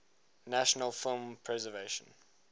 national film preservation